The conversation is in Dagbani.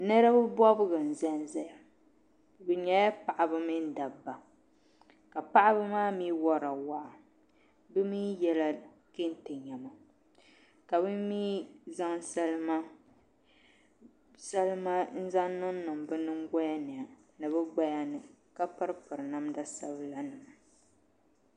Ninvuɣu bobgu n ʒɛnʒɛya bi nyɛla paɣaba mini dabba ka paɣaba maa mii worila waa bi mii yɛla kɛntɛ ka bi mii zaŋ salima n zaŋ niŋniŋ bi nyingoya ni ni bi gbaya ni ka piri piri namda sabila